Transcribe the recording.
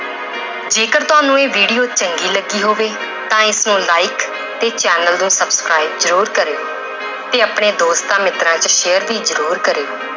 ਜੇਕਰ ਤੁਹਾਨੂੰ ਇਹ video ਚੰਗੀ ਲੱਗੀ ਹੋਵੇ ਤਾਂ ਇਸਨੂੰ like ਤੇ ਚੈਨਲ ਨੂੰ subscribe ਜ਼ਰੂਰ ਕਰਿਓ ਤੇ ਆਪਣੇ ਦੋਸਤਾਂ ਮਿੱਤਰਾਂ ਚ share ਵੀ ਜ਼ਰੂਰ ਕਰਿਓ।